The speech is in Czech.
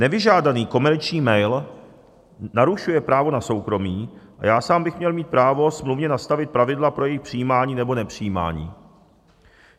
Nevyžádaný komerční mail narušuje právo na soukromí a já sám bych měl mít právo smluvně nastavit pravidla pro jejich přijímání nebo nepřijímání.